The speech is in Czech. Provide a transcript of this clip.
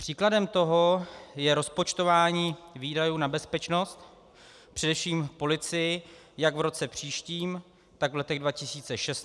Příkladem toho je rozpočtování výdajů na bezpečnost, především policii, jak v roce příštím, tak v letech 2016 a 2017, kam padá výhled rozpočtu.